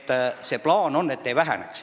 Plaan on, et seal inimeste arv ei väheneks.